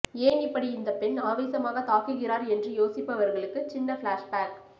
ஏன் இப்படி இந்தப் பெண் ஆவேசமாக தாக்குகிறார் என்று யோசிப்பவர்களுக்கு சின்ன ஃப்ளாஸ் பேக்